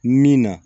Min na